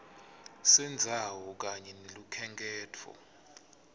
sendzawo kanye nelukhenkhetfo